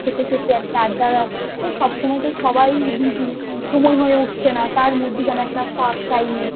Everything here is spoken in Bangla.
খেতে খেতে একটা আড্ডা ওই সব সময় তো সবাই busy সময় হয়ে উঠছে না তার মধ্যেখানে একটা ফাঁক টাইমে